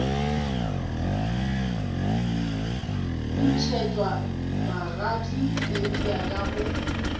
ntšhetšwa magadi eupša ka mo